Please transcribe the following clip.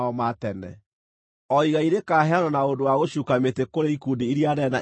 O igai rĩkaheanwo na ũndũ wa gũcuuka mĩtĩ kũrĩ ikundi iria nene na iria nini.”